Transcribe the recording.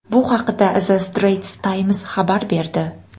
Bu haqda The Straits Times xabar berdi .